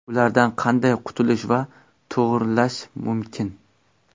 Ulardan qanday qutulish va to‘g‘rilash mumkin?